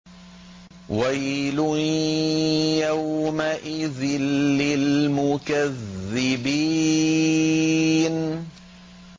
وَيْلٌ يَوْمَئِذٍ لِّلْمُكَذِّبِينَ